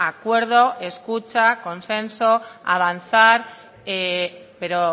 acuerdo escucha consenso avanzar pero